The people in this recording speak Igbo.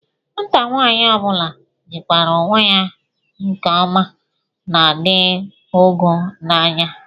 Nwata nwaanyị ọ bụla jikwara onwe ya nke ọma na-adị ọgọ n'anya